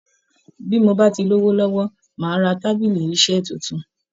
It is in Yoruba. Bí mo bá ti lówó lọ́wọ́, màá ra tábìlì iṣẹ́ tuntun